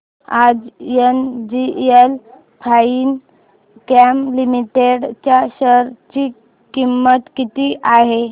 आज NGL Finechem Limited च्या share ची किंमत किती आहे